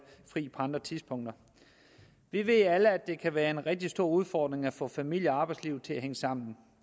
fri på andre tidspunkter vi ved alle at det kan være en rigtig stor udfordring at få familie og arbejdslivet til at hænge sammen